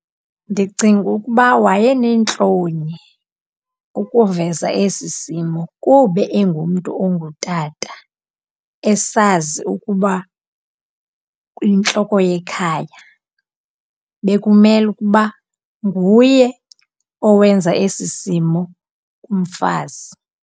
Ndicinga ukuba wayeneentloni ukuveza esi simo kuba engumntu ongutata, esazi ukuba uyintloko yekhaya. Bekumela ukuba nguye owenza esi simo kumfazi.